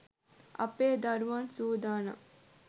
අපේ දරුවන් සූදානම්.